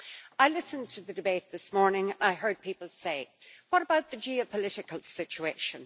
I listened to the debate this morning and I heard people say, what about the geopolitical situation?